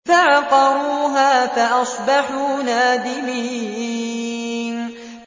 فَعَقَرُوهَا فَأَصْبَحُوا نَادِمِينَ